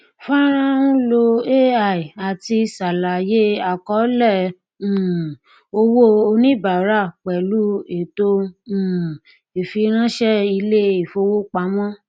fọnrán ń lo ai láti ṣàlàyé àkọọlẹ um owó oníbàárà pẹlú ètò um ìfiránṣẹ ilé ìfowópamọ